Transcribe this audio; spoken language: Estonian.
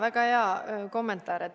Väga hea kommentaar!